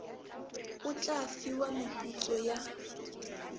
o tla fiwa meputso ya